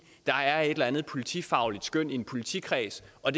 der er et eller andet politifagligt skøn i en politikreds og